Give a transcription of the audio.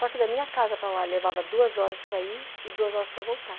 Só que da minha casa para lá, levava duas horas para ir e duas horas para voltar.